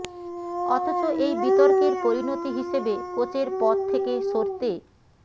অথচ এই বিতর্কের পরিণতি হিসেবে কোচের পদ থেকে সরতে